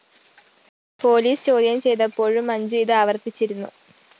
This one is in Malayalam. പോലീസ് ചോദ്യം ചെയ്തപ്പോഴും മഞ്ജു ഇത് ആവര്‍ത്തിച്ചിരുന്നു